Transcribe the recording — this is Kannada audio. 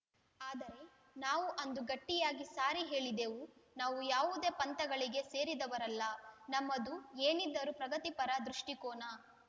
ಆದರೆ ನಾವು ಅಂದು ಗಟ್ಟಿಯಾಗಿ ಸಾರಿ ಹೇಳಿದೆವು ನಾವು ಯಾವುದೇ ಪಂಥಗಳಿಗೆ ಸೇರಿದವರಲ್ಲ ನಮ್ಮದು ಏನಿದ್ದರೂ ಪ್ರಗತಿಪರ ದೃಷ್ಟಿಕೋನ